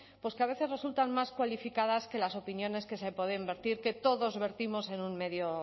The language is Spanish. que a veces resultan más cualificadas que las opiniones que se pueden verter que todos vertimos en un medio